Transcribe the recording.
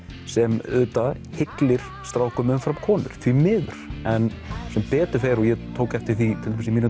sem auðvitað hyllir strákum umfram konur því miður en sem betur fer og ég tók eftir því í mínum